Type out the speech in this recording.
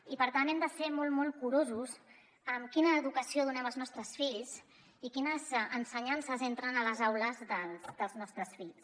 i per tant hem de ser molt molt curosos amb quina educació donem als nostres fills i quines ensenyances entren a les aules dels nostres fills